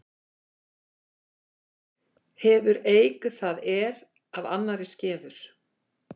Hefur eik það er af annarri skefur.